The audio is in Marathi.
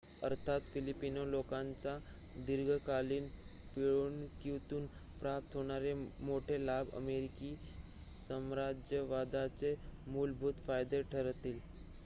अर्थात फिलिपिनो लोकांच्या दिर्घकालीन पिळवणुकीतून प्राप्त होणारे मोठे लाभ अमेरिकी साम्राज्यवादाचे मूलभूत फायदे ठरतील